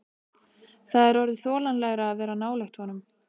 Það er orðið þolanlegra að vera nálægt honum.